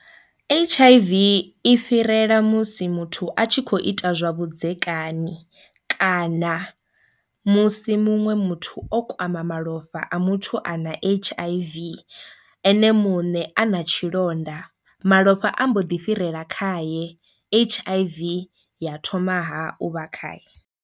H_I_V i fhirela musi muthu a tshi kho ita zwa vhudzekani kana musi muṅwe muthu o kwama malofha a muthu ana H_I_V ene muṋe a na tshilonda malofha a mbo ḓi fhirela khae H_I_V ya thoma ha u vha khae.